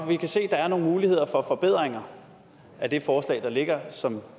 vi kan se at der er nogle muligheder for forbedringer af det forslag der ligger som